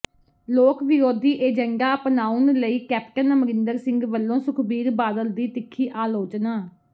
ਲੋਕ ਵਿਰੋਧੀ ਏਜੰਡਾ ਅਪਣਾਉਣ ਲਈ ਕੈਪਟਨ ਅਮਰਿੰਦਰ ਸਿੰਘ ਵੱਲੋਂ ਸੁਖਬੀਰ ਬਾਦਲ ਦੀ ਤਿੱਖੀ ਆਲੋਚਨਾ